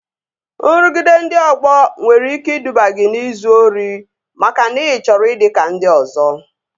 Nrụgide ndị ọgbọ nwere ike iduba gị n'izu ori makana ị chọrọ ịdị ka ndị ọzọ